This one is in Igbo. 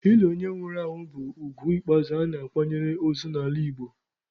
Ili onye nwụrụ anwụ bụ ugwu ikpeazụ a na-akwanyere ozu n'ala Igbo.